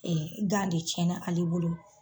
gan de cɛnna ale bolo.